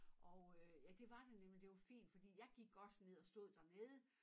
Og øh ja det var der nemlig og det var fint fordi jeg gik også ned og stod dernede